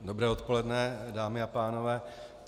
Dobré odpoledne, dámy a pánové.